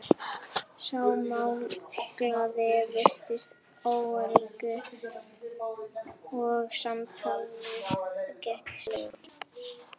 Sá málglaði virtist óöruggari og samtalið gekk stirðlega.